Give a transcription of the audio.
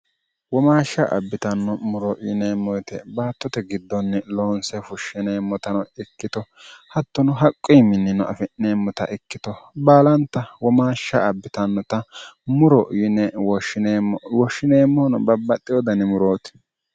womaashsha abbitanno muro yineemmoyite baattote giddonni loonse fushshineemmotano ikkito hattono haqqo yiminnino afi'neemmota ikkito baalanta womaashsha abbitannota muro ymwoshshineemmono babbaxxi wodani murooti